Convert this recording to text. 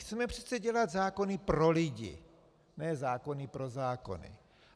Chceme přece dělat zákony pro lidi, ne zákony pro zákony.